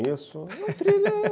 isso é um thriller amarelo.